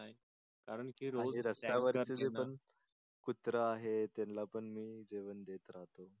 कारण की रोज रस्त्यावर पण कुत्रा हे त्येन्ला पण मी जेवण देत राहतो.